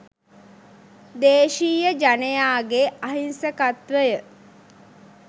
දේශීය ජනයාගේ අහිංසකත්වය